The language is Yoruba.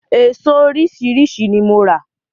Eso oríṣiríṣi ni mo rà.